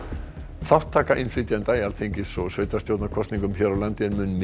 þátttaka innflytjenda í Alþingis og sveitarstjórnarkosningum hér á landi er mun minni